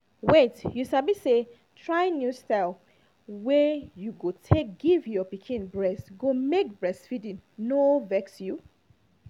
wait you sabi say trying new style wey you go take give your pikin breast go make make breastfeeding no vex you